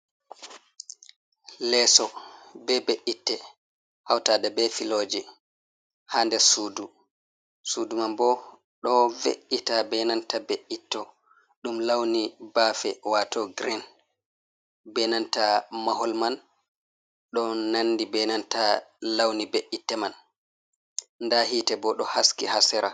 Leeso be be’itte, hawtaade be filooji haa nder suudu. Suudu man bo, ɗo ve’ita be nanta be’itto, ɗum lawni baafe waato girin, be nanta mahol man, ɗo nanndi be nanta lawni be’itte man. Ndaa yiite bo, ɗo haski haa sera.